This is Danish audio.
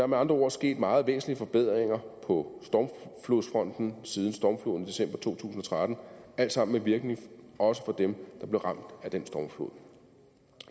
med andre ord sket meget væsentlige forbedringer på stormflodsfronten siden stormfloden i december to tusind og tretten alt sammen med virkning også for dem der blev ramt af den stormflod